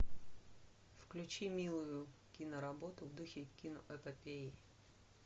включи милую киноработу в духе киноэпопеи